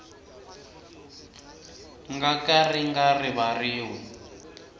nga ka ri nga rivariwi